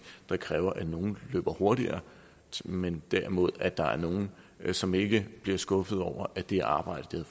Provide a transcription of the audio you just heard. der kræver at nogle løber hurtigere men derimod at der er nogle som ikke bliver skuffet over at det arbejde